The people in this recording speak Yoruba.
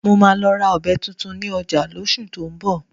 Mo máa lọ ra ọ̀bẹ tuntun ní ọjà lóṣù tó ń bọ̀